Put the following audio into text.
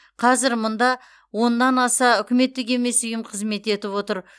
қазір мұнда оннан аса үкіметтік емес ұйым қызмет етіп отыр